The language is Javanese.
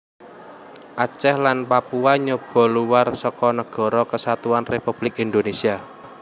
Aceh lan Papua nyoba luwar seka Nagara Kesatuan Républik Indonésia